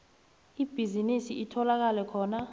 ibhizinisi itholakala khona